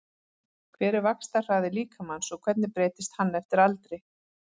Hver er vaxtarhraði líkamans og hvernig breytist hann eftir aldri?